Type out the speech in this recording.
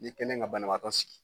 I kɛlen ka banabagatɔ sigi